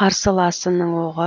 қарсыласының оғы